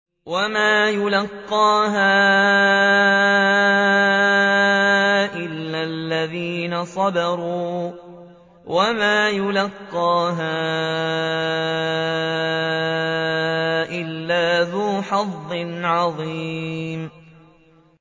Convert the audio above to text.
وَمَا يُلَقَّاهَا إِلَّا الَّذِينَ صَبَرُوا وَمَا يُلَقَّاهَا إِلَّا ذُو حَظٍّ عَظِيمٍ